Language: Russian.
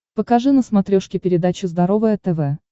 покажи на смотрешке передачу здоровое тв